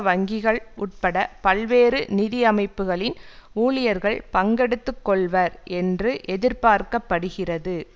வங்கிகள் உட்பட பல்வேறு நிதி அமைப்புக்களின் ஊழியர்கள் பங்கெடுத்து கொள்வர் என்று எதிர்பார்க்க படுகிறது